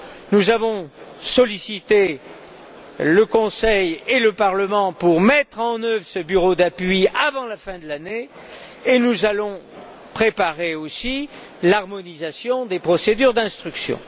Nous avons sollicité le Conseil et le Parlement pour mettre en œuvre ce bureau d'appui avant la fin de l'année, et nous allons préparer aussi l'harmonisation des procédures d'instruction.